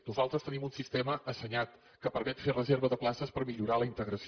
nosaltres tenim un sistema assenyat que permet fer reserva de places per millorar la integració